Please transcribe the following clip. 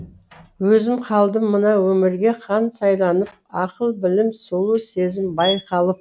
өзім қалдым мына өмірге хан сайланып ақыл білім сұлу сезім байқалып